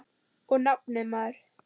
Og nafnið, maður.